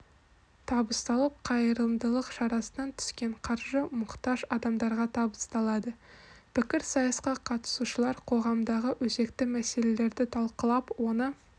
табысталып қайырымдылық шарасынан түскен қаржы мұқтаж адамдарға табысталады пікірсайысқа қатысушылар қоғамдағы өзекті мәселелерді талқылап оны